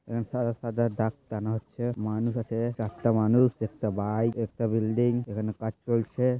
এছাড়া ডাক্তার হচ্ছে মানুষের কাছে চারটা মানুষ দেখতে পাই একটা বাইক একটা বিল্ডিং এখানে কাজ চলছে--